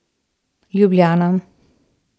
Ljubljana.